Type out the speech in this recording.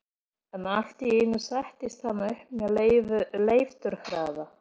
En allt í einu settist hann upp með leifturhraða.